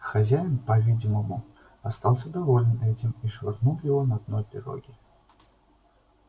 хозяин по-видимому остался доволен этим и швырнул его на дно пироги